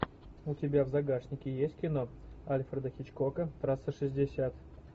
у тебя в загашнике есть кино альфреда хичкока трасса шестьдесят